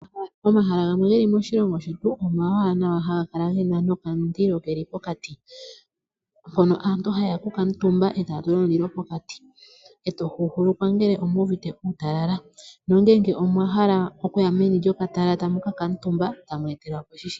Omahala gamwe geli moshilongo shetu omawaanawa gena nokamundilo keli pokati, mpono aantu haye ya oku kuutumba e taya tula omulilo pokati, e to huuhulukwa ngele omuuvite uutalala nongele omwa hala okuya meni lyokatala tamu kakaatumba e tamu etelwa po shi shili po.